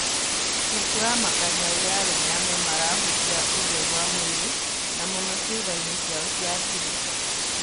"Nĩkũramakania ũrĩa arũme amwe marahũthia ũtheru wa mwirĩ na mũno ciĩgainĩ ciao cia thiri.